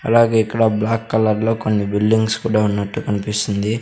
అలాగే ఇక్కడ black colour లో కొన్ని బిల్డింగ్స్ కూడా ఉన్నట్టు కన్పిస్తుంది.